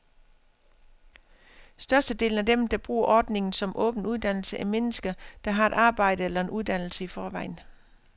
Størstedelen af dem, der bruger ordninger som åben uddannelse, er mennesker, der har et arbejde eller en uddannelse i forvejen.